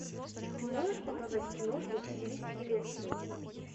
ты можешь показать киношку в стилистике лекции